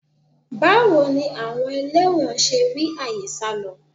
-chartreuse 3ni àwọn ẹlẹ́wọ̀n ṣe rí àyè sálọ?